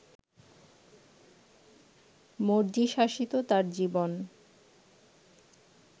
মর্জিশাসিত তাঁর জীবন